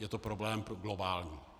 Je to problém globální.